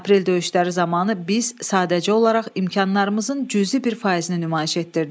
Aprel döyüşləri zamanı biz sadəcə olaraq imkanlarımızın cüzi bir faizini nümayiş etdirdik.